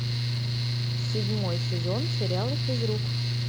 седьмой сезон сериала физрук